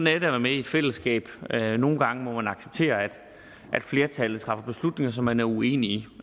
at være med i et fællesskab nogle gange må man acceptere at flertal træffer beslutninger som man er uenig i